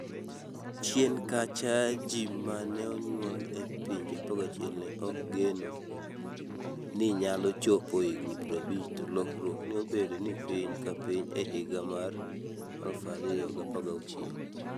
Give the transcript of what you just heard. chien kacha, ji ma ne onyuol e pinje 11 ne ok geno ni nyalo chopo higni 50 to lokruok ne obedo ni piny ka piny e higa mar 2016.